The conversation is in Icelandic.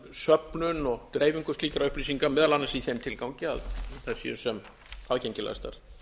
söfnun og dreifingu slíkra upplýsinga meðal annars í þeim tilgangi að þær séu sem aðgengilegastar